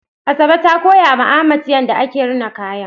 Asabe ta koya ma Ahmad yadda ake rina kaya